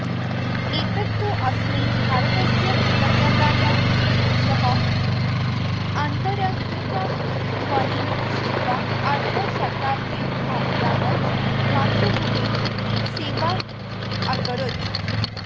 एतत् तु अस्मै भारतस्य कृतज्ञता यः आन्तरङ्गिकध्वनिं श्रुत्वा अर्धशताब्धं यावत् मातृभूमेः सेवामकरोत्